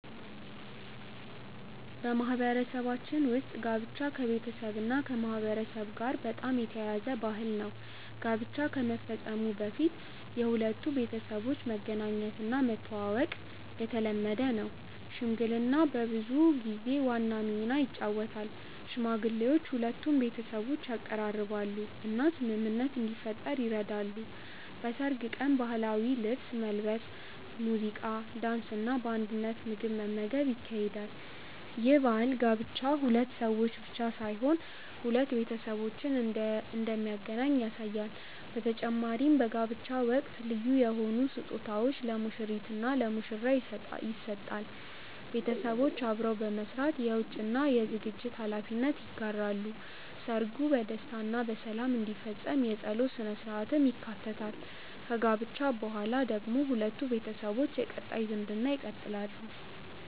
በማህበረሰባችን ውስጥ ጋብቻ ከቤተሰብና ከማህበረሰብ ጋር በጣም የተያያዘ ባህል ነው። ጋብቻ ከመፈጸሙ በፊት የሁለቱ ቤተሰቦች መገናኘትና መተዋወቅ የተለመደ ነው። ሽምግልና በብዙ ጊዜ ዋና ሚና ይጫወታል፤ ሽማግሌዎች ሁለቱን ቤተሰቦች ያቀራርባሉ እና ስምምነት እንዲፈጠር ይረዳሉ። በሰርግ ቀን ባህላዊ ልብስ መልበስ፣ ሙዚቃ፣ ዳንስ እና በአንድነት ምግብ መመገብ ይካሄዳል። ይህ ባህል ጋብቻ ሁለት ሰዎች ብቻ ሳይሆን ሁለት ቤተሰቦችን እንደሚያገናኝ ያሳያል በተጨማሪም በጋብቻ ወቅት ልዩ የሆኑ ስጦታዎች ለሙሽሪት እና ለሙሽራ ይሰጣል ቤተሰቦች አብረው በመስራት የወጪ እና የዝግጅት ሀላፊነት ይጋራሉ። ሰርጉ በደስታ እና በሰላም እንዲፈጸም የጸሎት ሥነ-ሥርዓትም ይካተታል። ከጋብቻ በኋላ ደግሞ ሁለቱ ቤተሰቦች የቀጣይ ዝምድና ይቀጥላሉ።